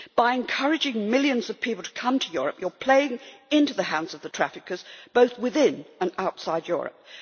By encouraging millions of people to come to Europe you are playing into the hands of the traffickers, both within and outside Europe.